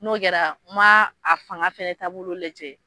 N'o kɛra n ma a fanga fana taabolo lajɛ.